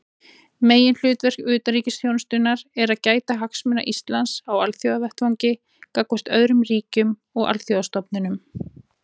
Meginhlutverk utanríkisþjónustunnar er að gæta hagsmuna Íslands á alþjóðavettvangi gagnvart öðrum ríkjum og alþjóðastofnunum.